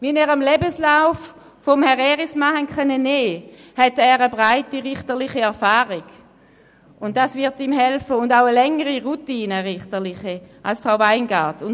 Wie Sie dem Lebenslauf von Herrn Erismann entnehmen konnten, verfügt er über eine breite richterliche Erfahrung, was ihm helfen wird, und auch über eine längere richterliche Routine als Frau Weingart-Schneider.